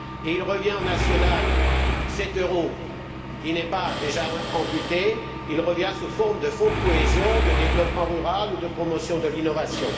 Et au niveau national, cet euro qui n'est pas déjà amputé revient sous forme de fonds de cohésion, de développement rural ou de promotion de l'innovation.